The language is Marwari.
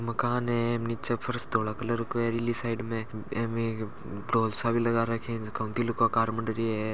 मकान है नीचे फर्श धोला कलर को है ईली साइड में एक ढोल सा भी लगा रखया है झका म दिल का आकार मंड रया है।